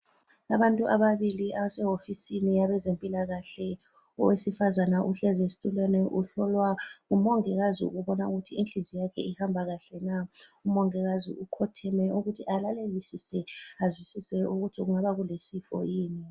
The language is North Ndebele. Abantu ababili abasewofisini yezempilakahle. Owesifazane uhlezi esitulweni uhlolwa ngumongikazi ukubona ukuthi inhliziyo yakhe ihamba kahle na. Umongikazi ukhotheme ukuthi alalelisise, azwisise ukuthi kungabe kulesifo yini.